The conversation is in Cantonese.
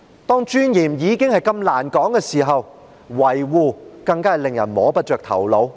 當尊嚴已經難以說得上的時候，維護尊嚴更令人摸不着頭腦。